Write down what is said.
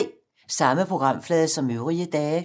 Samme programflade som øvrige dage